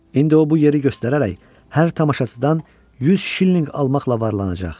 İndi o bu yeri göstərərək hər tamaşaçıdan 100 şillinq almaqla varlanacaq.